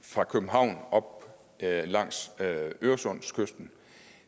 fra københavn op langs øresundskysten